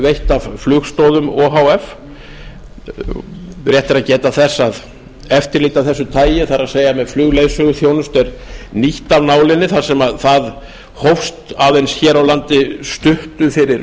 veitt af flugstoðum o h f rétt er að geta þess að eftirlit af þessu tagi það er með flugleiðsöguþjónustu er nýtt af nálinni þar sem það hófst aðeins hér á landi stuttu fyrir